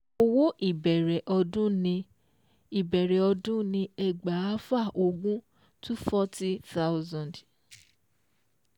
Owó ìbẹ̀rẹ̀ ọdún ni ìbẹ̀rẹ̀ ọdún ni ẹgbàáfà ogún two forty thousand